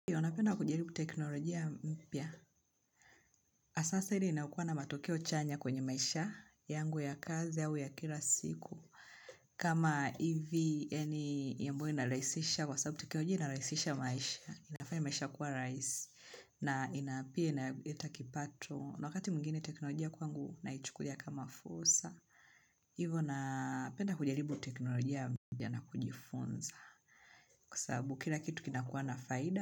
Ndiyo, napenda kujaribu teknolojia mpya. Sasa ile inaukuwa na matokeo chanya kwenye maisha yangu ya kazi au ya kila siku. Kama hivi, yaani, ambayo inarahisisha maisha kwa sababu teknolojia inarahisisha maisha. Inafanya maisha kuwa rahisi. Na ina pia inaleta kipato. Na wakati mwingine teknolojia kwangu naichukulia kama fursa. Hivyo, napenda kujaribu teknolojia mpya na kujifunza. Kusabu, kila kitu kinakuwa na faida.